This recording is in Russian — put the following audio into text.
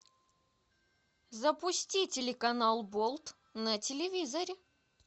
запусти телеканал болт на телевизоре